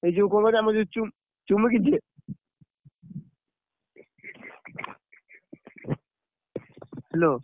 ଏଇ ଯୋଉ କଣ କହିଲୁ ଆମ ଯୋଉ ଚୁ, ଚୁମିକି ଯେ? Hello